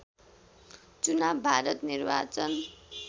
चुनाव भारत निर्वाचन